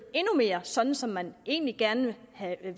endnu mere sådan som man egentlig gerne ville have